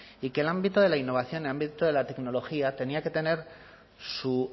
y que el ámbito de la innovación el ámbito de la tecnología tenía que tener su